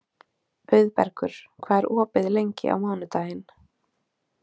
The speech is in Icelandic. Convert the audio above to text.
Auðbergur, hvað er opið lengi á mánudaginn?